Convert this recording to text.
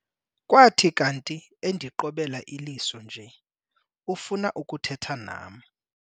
Kwathi kanti endiqobela iliso nje ufuna ukuthetha nam.